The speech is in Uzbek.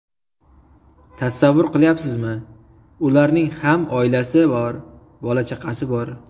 Tasavvur qilyapsizmi, ularning ham oilasi bor, bola-chaqasi bor.